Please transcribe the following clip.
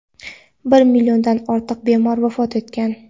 bir milliondan ortiq bemor vafot etgan.